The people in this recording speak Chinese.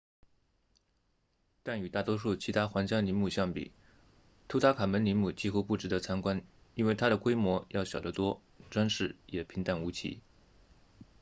但与大多数其他皇家陵墓相比图坦卡蒙陵墓几乎不值得参观因为它的规模要小得多装饰也平淡无奇